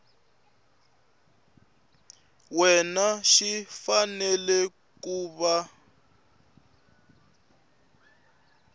wena xi fanele ku va